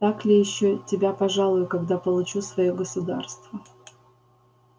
так ли ещё тебя пожалую когда получу своё государство